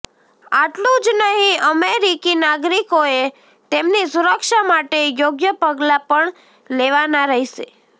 આટલું જ નહીં અમેરિકી નાગરિકોએ તેમની સુરક્ષા માટે યોગ્ય પગલાં પણ લેવાના રહેશે